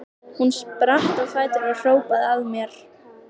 Hún spratt á fætur og hrópaði að mér